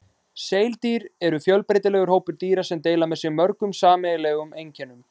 Seildýr eru fjölbreytilegur hópur dýra sem deila með sér mörgum sameiginlegum einkennum.